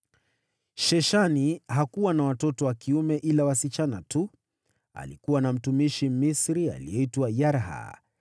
Sheshani hakuwa na watoto wa kiume, ila wasichana tu. Alikuwa na mtumishi Mmisri aliyeitwa Yarha.